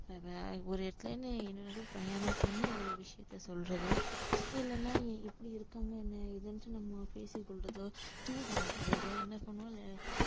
ஒரு இடத்துலன்னு இருந்து பயணம் பண்ணி ஒரு விஷயத்த சொல்றதோ இல்லைன்னா இப்படி இருக்காங்க என்ன ஏதுன்னுட்டு நம்ம பேசிக் கொள்றதோ தூது அனுப்புறதோ என்ன பண்ணுவோம்